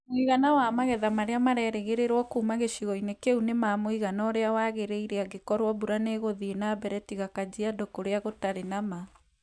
Mũigana wa magetha marĩa marerĩgĩrĩrio kuuma gĩcigo-inĩ kĩu nĩ ma mũigana ũrĩa wagĩrĩire angĩkorũo mbura nĩ ĩgũthiĩ na mbere tiga Kajiado kũrĩa gũtarĩ na ma.